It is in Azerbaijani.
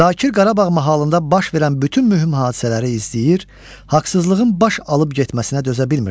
Zakir Qarabağ mahalında baş verən bütün mühüm hadisələri izləyir, haqsızlığın baş alıb getməsinə dözə bilmirdi.